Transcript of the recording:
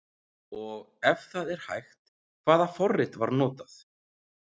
Og ef það er hægt, hvaða forrit var notað?